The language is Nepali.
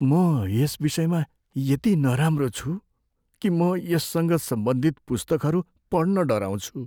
म यस विषयमा यति नराम्रो छु कि म यससँग सम्बन्धित पुस्तकहरू पढ्न डराउँछु।